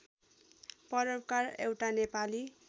परोपकार एउटा नेपाली